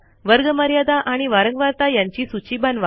वर्गमर्यादा आणि वारंवारता यांची सूची बनवा